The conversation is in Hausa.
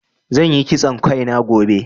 Zan yi kitson Kai na gobe.